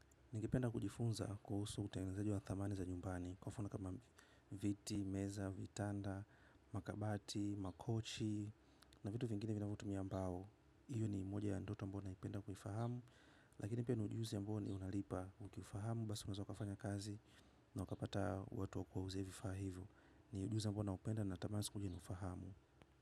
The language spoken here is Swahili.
Ningependa kujifunza kuhusu utengenezaji wa thamani za nyumbani. Kwa mfano kama viti, meza, vitanda, makabati, makochi na vitu vingine vinavotumia mbao. Iyo ni moja ya ndoto ambao naipenda kuifahamu. Lakini pia ni ujuzi ambao unalipa ukiufahamu. Basi unaeza ukafanya kazi na ukapata watu wa kuuzia vifaa hivo. Ni ujuzi ambao naupenda natamani siku moja niufahamu.